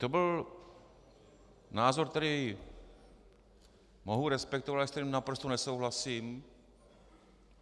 To byl názor, který mohu respektovat, ale se kterým naprosto nesouhlasím.